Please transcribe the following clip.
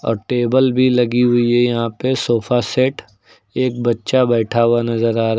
और टेबल भी लगी हुई है यहां पे सोफा सेट एक बच्चा बैठा हुआ नजर आ रहा--